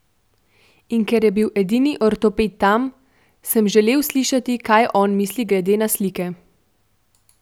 In ker je bil edini ortoped tam, sem želel slišati, kaj on misli, glede na slike.